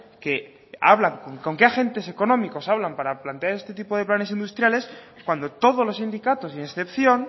que hablan con qué agentes económicos hablan para plantear este tipo de planes industriales cuando todos los sindicatos sin excepción